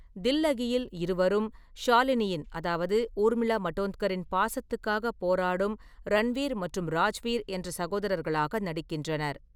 தில்லகியில், இருவரும், ஷாலினியின் அதாவது ஊர்மிளா மடோன்கர் பாசத்துக்காக போராடும் ரன்வீர் மற்றும் ராஜ்வீர் என்ற சகோதரர்களாக நடிக்கின்றனர்.